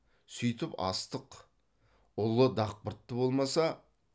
сүйтіп астық ұлы дақпыртты болмаса